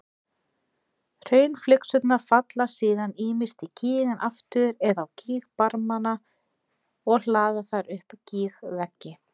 Hraunflygsurnar falla síðan ýmist í gíginn aftur eða á gígbarmana og hlaða þar upp gígveggi.